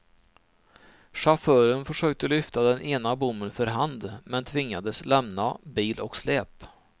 Chauffören försökte lyfta den ena bommen för hand, men tvingades lämna bil och släp.